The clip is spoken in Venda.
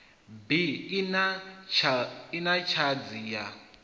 bi i na tshadzhi ya